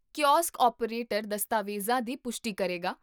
kiosk operator ਦਸਤਾਵੇਜ਼ਾਂ ਦੀ ਪੁਸ਼ਟੀ ਕਰੇਗਾ